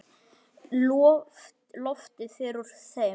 Loftið fer úr þeim.